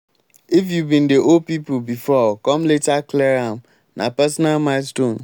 if you been dey owe pipo before come later clear am na personal milestone.